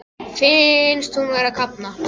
Finnst hún vera að kafna.